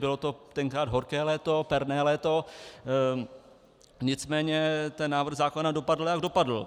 Bylo to tenkrát horké léto, perné léto, nicméně ten návrh zákona dopadl, jak dopadl.